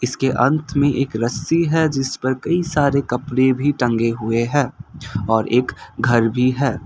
इसके अंत में एक रस्सी है जिसपर कई सारे कपड़े भी टंगे हुए हैं और एक घर भी है।